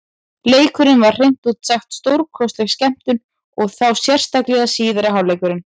Leikurinn var hreint út sagt stórkostleg skemmtun, og þá sérstaklega síðari hálfleikurinn.